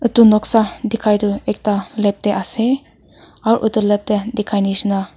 etu noksa dikhai du ekta lab deh asey aro utu lab deh dikhai nishina--